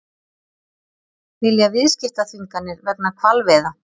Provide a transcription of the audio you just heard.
Vilja viðskiptaþvinganir vegna hvalveiða